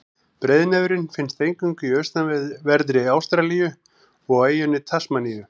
Breiðnefurinn finnst eingöngu í austanverðri Ástralíu og á eyjunni Tasmaníu.